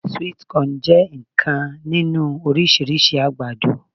Sweet corn je nnkan ninu orisirisi agbado